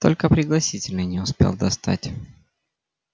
только пригласительные не успел достать